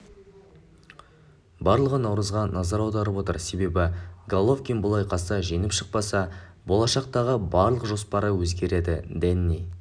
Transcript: барлығы наурызға назар аударып отыр себебі головкин бұл айқаста жеңіп шықпаса болашақтағы барлық жоспары өзгереді дэнни